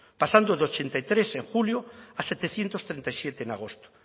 pasando de ochenta y tres en julio a setecientos treinta y siete en agosto